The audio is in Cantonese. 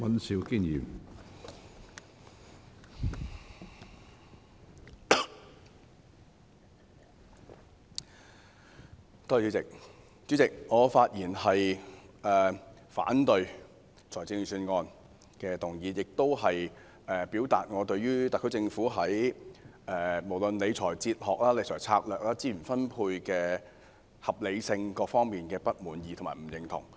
主席，我發言反對《2019年撥款條例草案》，亦表達我對於特區政府在理財哲學、理財策略、資源分配的合理性等各方面的不滿意和不認同。